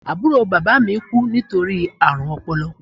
Àbúrò bàbá mi kú nítorí àrùn ọpọlọ